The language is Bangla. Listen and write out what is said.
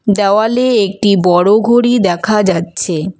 দেওয়ালে একটি বড় ঘড়ি দেখা যাচ্ছে।